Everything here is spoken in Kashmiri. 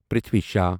پَرتھوی شاہ